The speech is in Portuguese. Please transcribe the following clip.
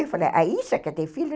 Eu falei, ah, isso é que é ter filho, é?